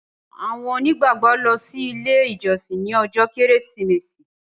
àwọn onígbàgbọ lọ si ile ijọsin ní ojó kérésìmesì.